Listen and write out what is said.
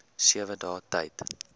sewe dae tyd